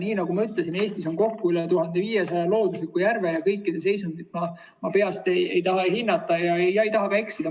Nii nagu ma ütlesin, Eestis on kokku üle 1500 loodusliku järve ja kõikide seisundit ma peast ei taha hinnata ega taha ka eksida.